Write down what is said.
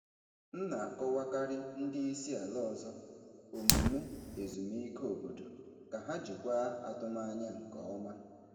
M na-akọwakarị ndị isi ala ọzọ omume ezumike obodo ka ha jikwaa atụmanya nke ọma.